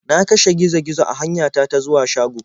Na kashe gizo -gizo a hanyata ta zuwa shago.